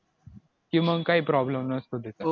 की मग काय problem नसतो त्याच्यात